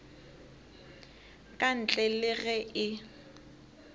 ka ntle le ge e